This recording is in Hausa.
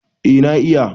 eh na iya